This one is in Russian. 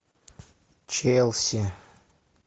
челси